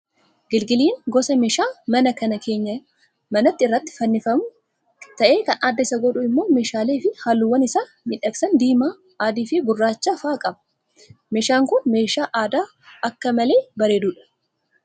gilgiliin gosa meeshaa manaa kan keenyaa manaa irratti fannifamu ta'ee kan adda isa godhu immoo meeshaalee fi halluuwwan isa miidhagsan diimaa, adii fi gurraacha fa'aa qaba. Meeshaan kun meeshaa aadaa akka malee bareedudha.